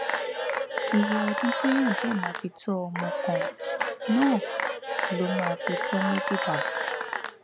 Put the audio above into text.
iye ọdún téèyàn dé máa fi tọ ọmọ kan náà ló máa fi tó méjì dàgbà